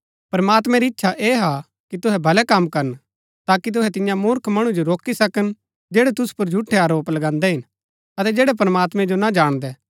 प्रमात्मैं री इच्छा ऐह हा कि तुहै भलै कम करन ताकि तुहै तिन्या मुर्ख मणु जो रोकी सकन जैड़ै तुसु पुर झूठै आरोप लगान्दै हिन अतै जैड़ै प्रमात्मैं जो ना जाणदै